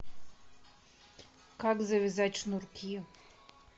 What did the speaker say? как завязать шнурки